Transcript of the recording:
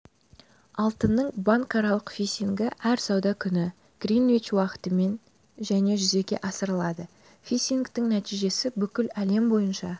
алтынның банкаралық фиксингі әр сауда күні гринвич уақытымен және жүзеге асырылады фиксингтің нәтижесі бүкіл әлем бойынша